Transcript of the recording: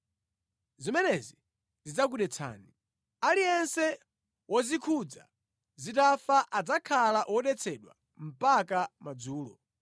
“ ‘Zimenezi zidzakudetsani. Aliyense wozikhudza zitafa adzakhala wodetsedwa mpaka madzulo.